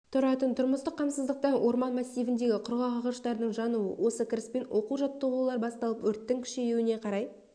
тұратын тұрмыстық қамсыздықтан орман массивіндегі құрғақ ағаштардың жануы осы кіріспен оқу-жаттығулар басталып өрттің күшеюіне қарай